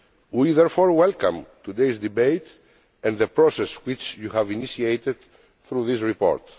We therefore welcome today's debate and the process which you have initiated through this report.